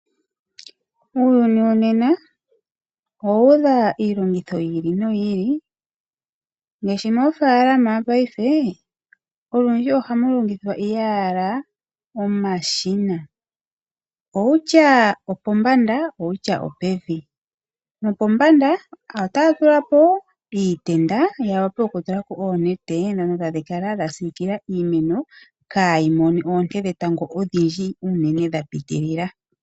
Uuyuni wonena owu udha iilongitho yi ili noyi ili. Ngaashi moofaalama paife olundji ohamu longithwa owala omashina. Kutya opombanda kutya opevi. Nopombanda otaya tula po iitenda ya wape okutula po oonete ndhono tadhi kala dha siikila iimeno, kaayi mone oonte dhetango odhindji unene dha piitilila.